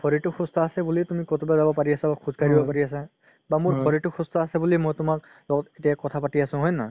শৰিৰতো সুস্থ আছে বুলি হে তুমি কৰোবাত যাব পাৰি আছা বা খোজ কাঢ়িব পাৰি আছা বা মোৰ শৰিৰতো সুস্থ আছে বুলি মই তোমাৰ লগত এতিয়া কথা পাতি আছো হয় নে নহয়